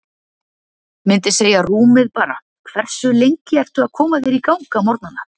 Myndi segja rúmið bara Hversu lengi ertu að koma þér í gang á morgnanna?